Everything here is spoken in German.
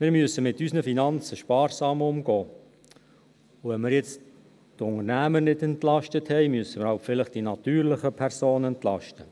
Wir müssen mit unseren Finanzen sparsam umgehen, und nachdem wir jetzt die Unternehmer nicht entlastet haben, müssen wir halt vielleicht die natürlichen Personen entlasten.